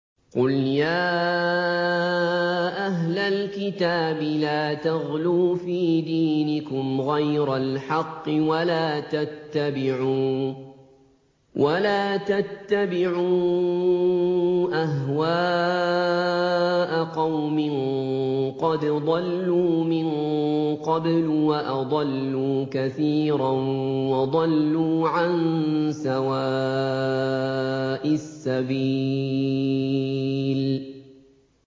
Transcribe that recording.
قُلْ يَا أَهْلَ الْكِتَابِ لَا تَغْلُوا فِي دِينِكُمْ غَيْرَ الْحَقِّ وَلَا تَتَّبِعُوا أَهْوَاءَ قَوْمٍ قَدْ ضَلُّوا مِن قَبْلُ وَأَضَلُّوا كَثِيرًا وَضَلُّوا عَن سَوَاءِ السَّبِيلِ